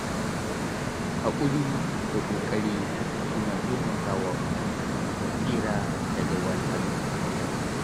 Haƙuri da ƙoƙari suna taimakawa mutum ya tsira daga wahalhalu.